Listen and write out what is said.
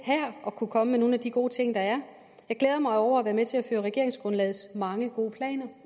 her at kunne komme med nogle af de gode ting der er jeg glæder mig over at være med til at føre regeringsgrundlagets mange gode planer